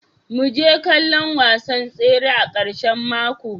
Mu je kallon wasan tsere a karshen mako.